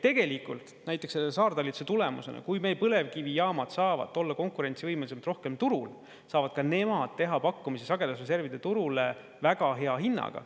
Tegelikult näiteks selle saartalitluse tulemusena, kui meie põlevkivijaamad saavad olla konkurentsivõimelisemad ja rohkem turul, saavad ka nemad teha pakkumise sagedusreservide turule väga hea hinnaga.